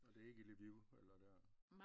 Og det er ikke i Lviv eller der